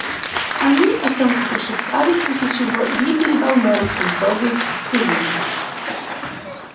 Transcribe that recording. они о чем-то пошептались после чего ли передал мэру свинцовый цилиндрик